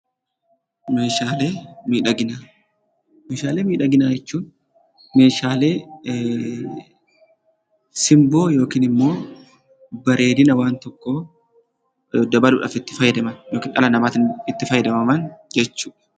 Meeshalee midhaagina; meeshalee midhaaginaa jechuun meeshalee simboo yookiin immoo bareedina waan tokko dabaluudhaaf itti faayadamaan ykn dhala namattin itti faayadadamaan jechuudha.